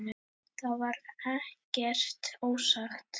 Það var ekkert ósagt.